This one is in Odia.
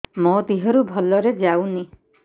ମୋ ଦିହରୁ ଭଲରେ ଯାଉନି